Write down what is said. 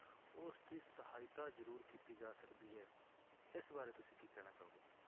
ਉਸਦੀ ਸਹਾਇਤਾ ਜ਼ਰੂਰ ਕੀਤੀ ਜਾ ਸਕਦੀ ਹੈ ਇਸ ਬਾਰੇ ਤੁਸੀਂ ਕੀ ਕਹਿਣਾ ਚਾਹੋਗੇ।